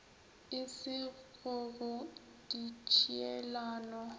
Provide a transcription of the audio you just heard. e se go go ditšhielano